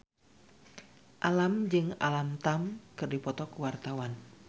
Alam jeung Alam Tam keur dipoto ku wartawan